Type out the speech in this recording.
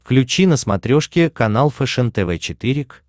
включи на смотрешке канал фэшен тв четыре к